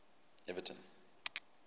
everton